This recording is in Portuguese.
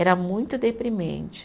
Era muito deprimente.